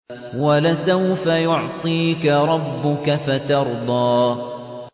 وَلَسَوْفَ يُعْطِيكَ رَبُّكَ فَتَرْضَىٰ